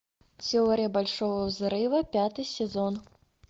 теория большого взрыва пятый сезон